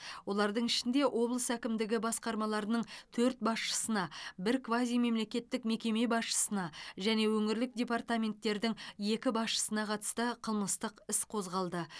олардың ішінде облыс әкімдігі басқармаларының төрт басшысына бір квазимемлекеттік мекеме басшысына және өңірлік департаменттердің екі басшысына қатысты қылмыстық іс қозғалды